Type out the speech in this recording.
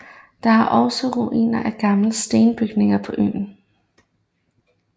Der er også ruiner af gamle stenbygninger på øen